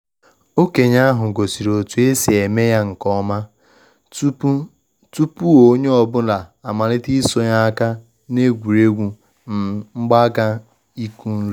Okenye ahu gosiri otu esi eme ya nke ọma tupu tupu onye ọ bụla amalite isonye na egwuregwu um mgbaaka ịkụ nri